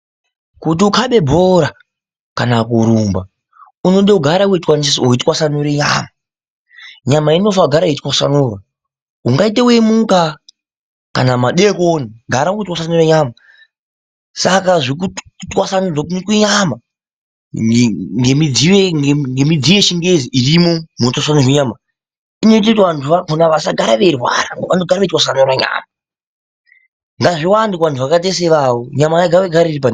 Kuti ukhabe bhora kana kurumba unoda kugara weitwasanura nyama. Nyama inofana kugara weitwasanurwa. Ungaita weimuka kana madekoni, gara weitwasanura nyama. Saka kutwasanudzwa kunoitwa nyama ngemidziyo yechingezi irimo munotswanudzwa nyama, inoita kuti vantu vakona vasagara veirwara. Vanogara veitwasanura nyama. Ngazviwande kuvantu vakaita seivavo nyama ngaigare.